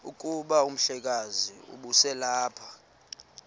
kuba umhlekazi ubeselelapha